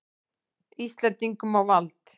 Íslendingum á vald.